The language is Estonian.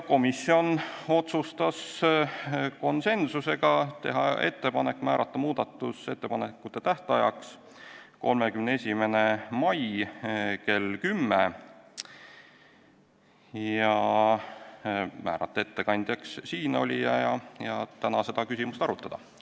Komisjon otsustas konsensusega teha ettepaneku määrata muudatusettepanekute tähtajaks 31. mai kell 10, määrata ettekandjaks siinolija ja siin saalis täna seda eelnõu arutada.